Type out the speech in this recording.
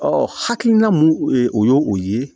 Ɔ hakilina mun ye o ye o ye